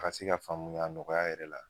Ka se ka faamuya nɔgɔya yɛrɛ la